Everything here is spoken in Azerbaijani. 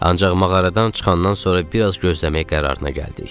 Ancaq mağaradan çıxandan sonra biraz gözləməyə qərarına gəldik.